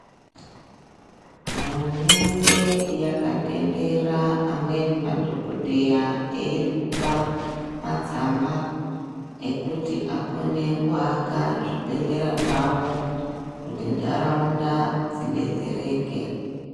Hurumende yakatendera amweni madhokodheya eiri kupa matsamba ekuti akone kuaka zvibhedhlera zvawo kuti ntaraunda dzidetsereke.